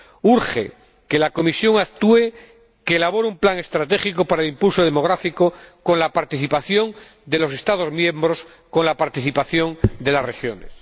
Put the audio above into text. Urge que la Comisión actúe, que elabore un plan estratégico para el impulso demográfico con la participación de los Estados miembros, con la participación de las regiones.